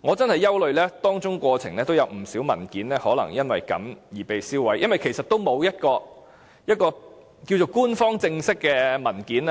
我非常憂慮有不少文件已被銷毀，所以我們應支持議案，要求政府公開官方正式的文件。